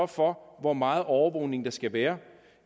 for hvor meget overvågning der skal være